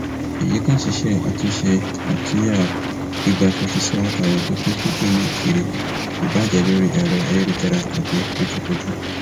èyí kan ṣíṣe àtúnṣe àtúnya gbígba fífi ṣòwò tàbí pínpín fídíò náà kiri ibàá jẹ lórí ẹrọ ayélujára tàbí lójúkojú